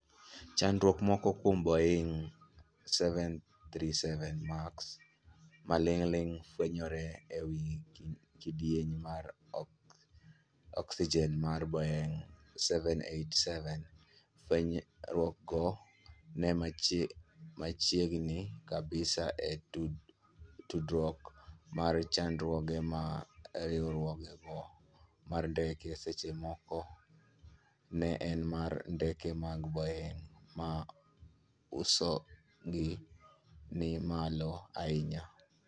Chandruoge moko kuom Boeing' 737 Max: Maling'ling' fwenyore ewi kidieny mar oksijen mar Boeing' 787. Fwenyruogno en machiegni kabisa e tudruok mar chandruoge ma riwruogno mar ndeke seche moko ne en mar ndeke mag Boeing' ma usogi ni malo ahinya.